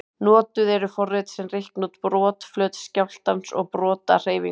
Notuð eru forrit sem reikna út brotflöt skjálftans og brotahreyfingu.